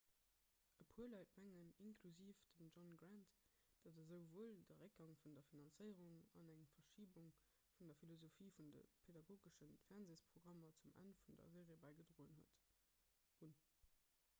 e puer leit mengen inklusiv dem john grant datt esouwuel de réckgang vun der finanzéierung an eng verschibung vun der philosophie vun de pedagogesche fernseesprogrammer zum enn vun der serie bäigedroen hunn